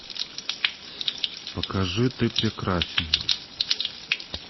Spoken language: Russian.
покажи ты прекрасен